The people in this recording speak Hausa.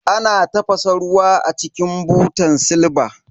Ana tafasa ruwa a cikin butan silba.